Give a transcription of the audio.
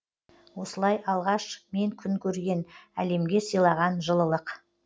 осылай алғаш мен күн көрген әлемге сыйлаған жылылық